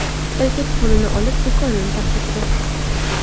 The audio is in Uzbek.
Erkak pulni olib, do‘konni tark etdi.